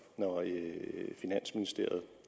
finansministeriet